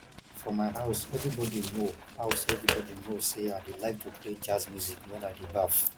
for my house everybody know house everybody know say i dey like to play jazz music wen i dey baff